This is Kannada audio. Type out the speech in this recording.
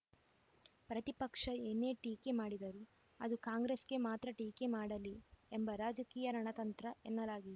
ಪ್ರತಿಪಕ್ಷ ಏನೇ ಟೀಕೆ ಮಾಡಿದರೂ ಅದು ಕಾಂಗ್ರೆಸ್‌ಗೆ ಮಾತ್ರ ಟೀಕೆ ಮಾಡಲಿ ಎಂಬ ರಾಜಕೀಯ ರಣತಂತ್ರ ಎನ್ನಲಾಗಿದೆ